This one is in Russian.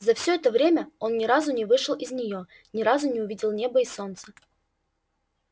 за всё это время он ни разу не вышел из неё ни разу не увидел неба и солнца